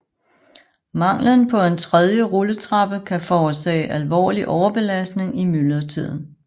Manglen på en tredje rulletrappe kan forårsage alvorlig overbelastning i myldretiden